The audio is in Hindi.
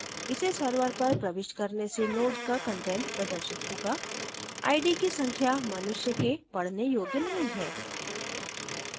इसे server पर प्रविष्ट करने से node का कंटेंट प्रदर्शित होगा id की संख्या मनुष्य़ के पढ़ने योग्य नहीं है